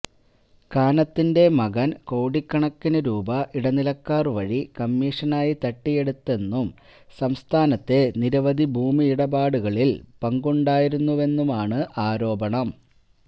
കാനത്തിന്റെ മകന് കോടിക്കണക്കിന് രൂപ ഇടനിലക്കാര് വഴി കമ്മിഷനായി തട്ടിയെടുത്തെന്നും സംസ്ഥാനത്തെ നിരവധി ഭൂമിയിടപാടുകളില് പങ്കുണ്ടായിരുന്നുവെന്നുമാണ് ആരോപണം